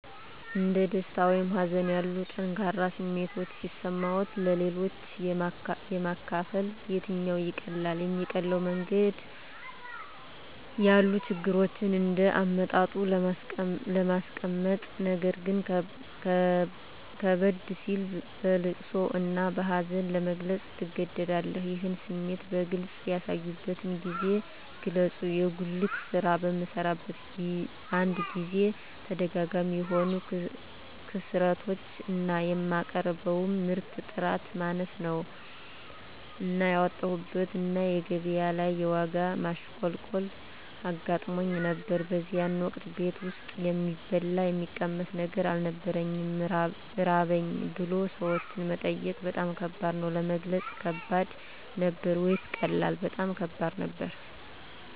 እንደ ደስታ ወይም ሀዘን ያሉ ጠንካራ ስሜቶች ሲሰማዎት-ለሌሎች ለማካፈል የትኛው ይቀላል? የሚቀለው መንገድ ያሉ ችግሮችን እንደ አመጣጡ ለማስቀመጥነገር ግን ከበድ ሲል በለቅሶ እና በሀዘን ለመግለፅ ትገደዳለህ ይህን ስሜት በግልጽ ያሳዩበትን ጊዜ ግለጹ የጉልት ስራ በምሰራበት አንድ ጊዜ ተደጋጋሚ የሆኑ ክስረቶች እና የማቀርበው ምርት ጥራት ማነስ እና ያወጣሁበት እና ገቢያ ላይ የዋጋ ማሽቆልቆል አጋጥሞኝ ነበር በዚያን ወቅት ቤት ውስጥ የሚበላ የሚቀመስ ነገር አልነበረኝም ራበኝ ብሎ ሰዎችን መጠየቅ በጣም ከባድ ነበር። ለመግለጽ ከባድ ነበር ወይስ ቀላል? በጣም ከባድ ነበር